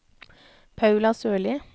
Paula Sørli